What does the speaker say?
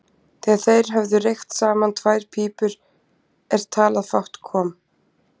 Þegar þeir höfðu reykt saman tvær pípur en talað fátt kom